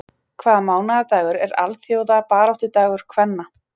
Hvaða mánaðardagur er alþjóðabaráttudagur kvenna?